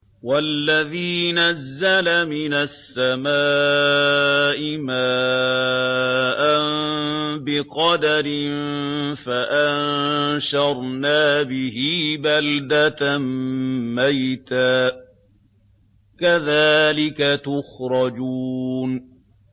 وَالَّذِي نَزَّلَ مِنَ السَّمَاءِ مَاءً بِقَدَرٍ فَأَنشَرْنَا بِهِ بَلْدَةً مَّيْتًا ۚ كَذَٰلِكَ تُخْرَجُونَ